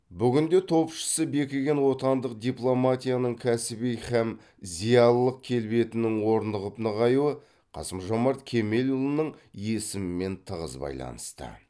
бүгінде топшысы бекіген отандық дипломатияның кәсіби һәм зиялылық келбетінің орнығып нығаюы қасым жомарт кемелұлының есімімен тығыз байланысты